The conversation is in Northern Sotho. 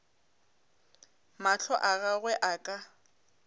mahlo a gagwe a ka